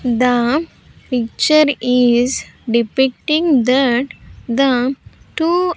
The picture is depicting that the two --